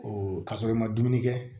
kasɔrɔ i ma dumuni kɛ